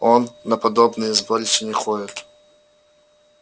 он на подобные сборища не ходит